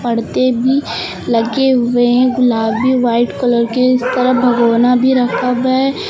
पर्दे भी लगे हुए हैं गुलाबी व्हाइट कलर के इस तरह भगोना भी रखा है।